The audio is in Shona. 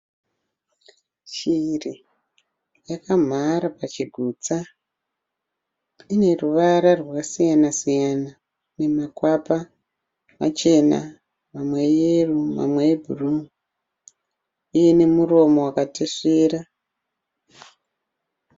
Shiri yakamhara pachigutsa ine ruvara rwakasiyana siyana namakwapa machena, mamwe eyero, mamwe ebhuruu nemuromo wakatesvera.